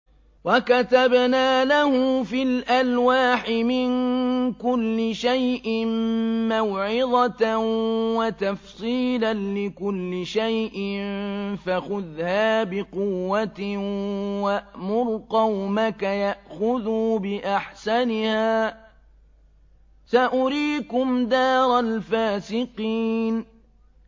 وَكَتَبْنَا لَهُ فِي الْأَلْوَاحِ مِن كُلِّ شَيْءٍ مَّوْعِظَةً وَتَفْصِيلًا لِّكُلِّ شَيْءٍ فَخُذْهَا بِقُوَّةٍ وَأْمُرْ قَوْمَكَ يَأْخُذُوا بِأَحْسَنِهَا ۚ سَأُرِيكُمْ دَارَ الْفَاسِقِينَ